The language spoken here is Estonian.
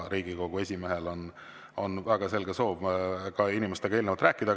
Riigikogu esimehel on väga selge soov ka inimestega eelnevalt rääkida.